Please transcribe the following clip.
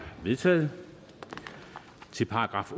vedtaget til §